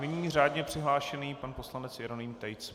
Nyní řádně přihlášený pan poslanec Jeroným Tejc.